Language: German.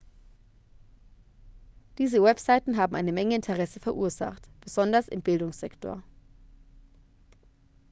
diese webseiten haben eine menge interesse verursacht besonders im bildungssektor